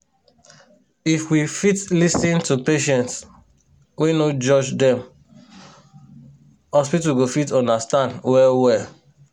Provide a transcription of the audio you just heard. if we fit lis ten to patients wey no judge dem hospital go fit understand well well